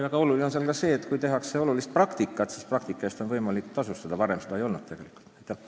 Väga oluline on ka see, et nüüd on võimalik praktikat tasustada, varem seda tegelikult teha ei saanud.